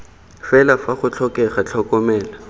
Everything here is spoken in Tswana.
fela fa go tlhokega tlhokomelo